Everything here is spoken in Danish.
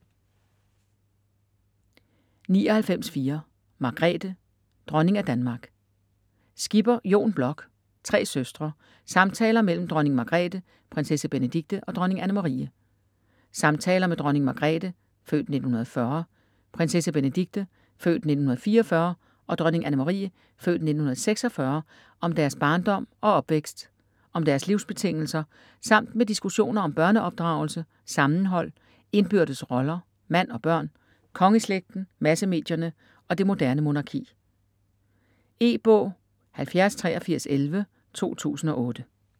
99.4 Margrethe: dronning af Danmark Skipper, Jon Bloch: Tre søstre: samtaler mellem dronning Margrethe, prinsesse Benedikte og dronning Anne-Marie Samtaler med dronning Margrethe (f. 1940), prinsesse Benedikte (f. 1944) og dronning Anne-Marie (f. 1946) om deres barndom og opvækst, om deres livsbetingelser, samt med diskussioner om børneopdragelse, sammenhold, indbyrdes roller, mand og børn, kongeslægten, massemedierne og det moderne monarki. E-bog 708311 2008.